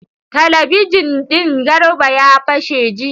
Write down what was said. Talabijin din Garba ya fashe jiya.